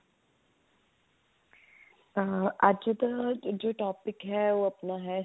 ਅੱਜ ਦਾ ਜੋ topic ਹੈ ਉਹ ਆਪਣਾ ਹੈ